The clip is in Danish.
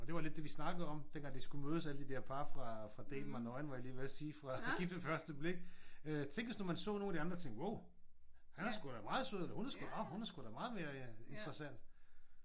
Og det var lidt det vi snakkede om dengang de skulle mødes alle de der par fra fra Date mig nøgen var jeg lige ved at sige fra Gift ved første blik. Tænk hvis nu man så de nogle af andre og tænkte wow han er sgu da meget sød eller hun er sgu da nå hun er sgu da meget mere interessant